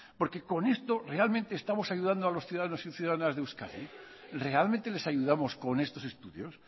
porque con esto realmente estamos ayudando a los ciudadanos y ciudadanas de euskadi realmente les ayudamos con estos estudios